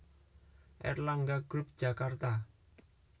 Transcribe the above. Erlangga group Jakarta